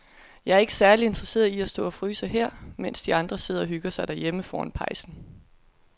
Jeg er ikke særlig interesseret i at stå og fryse her, mens de andre sidder og hygger sig derhjemme foran pejsen.